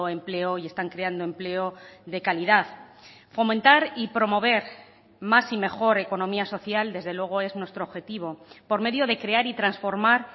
empleo y están creando empleo de calidad fomentar y promover más y mejor economía social desde luego es nuestro objetivo por medio de crear y transformar